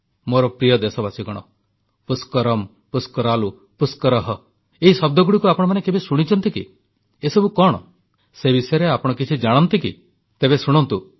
ମୋର ପ୍ରିୟ ଦେଶବାସୀଗଣ ପୁଷ୍କରମ୍ ପୁଷ୍କରାଲୁ ପୁଷ୍କରଃ ଏହି ଶବ୍ଦଗୁଡ଼ିକୁ ଆପଣମାନେ କେବେ ଶୁଣିଛନ୍ତି କି ଏସବୁ କଣ ସେ ବିଷୟରେ ଆପଣ କିଛି ଜାଣନ୍ତି କି ତେବେ ଶୁଣନ୍ତୁ